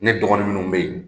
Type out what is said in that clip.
Ne dɔgɔnin ninnu bɛ yen